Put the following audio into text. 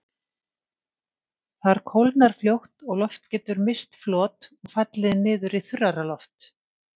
Þar kólnar fljótt og loft getur misst flot og fallið niður í þurrara loft.